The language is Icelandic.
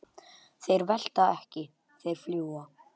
Þeir velta ekki, þeir fljúga.